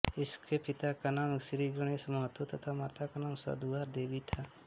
इनके पिता का नाम श्रीगणेश महतो तथा माता का नाम सधुवा देवी था